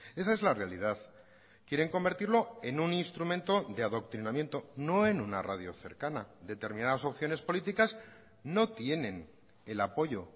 esa es la realidad quieren convertirlo en un instrumento de adoctrinamiento no en una radio cercana determinadas opciones políticas no tienen el apoyo